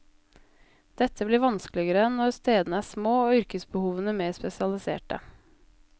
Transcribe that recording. Dette blir vanskeligere når stedene er små og yrkesbehovene mer spesialiserte.